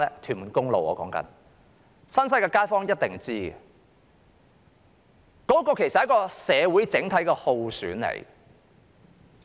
新界西的街坊一定知道，這其實是社會的整體耗損。